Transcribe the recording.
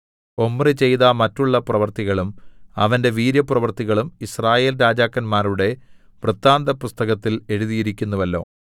Omri ചെയ്ത മറ്റുള്ള പ്രവൃത്തികളും അവന്റെ വീര്യപ്രവൃത്തികളും യിസ്രായേൽ രാജാക്കന്മാരുടെ വൃത്താന്തപുസ്തകത്തിൽ എഴുതിയിരിക്കുന്നുവല്ലോ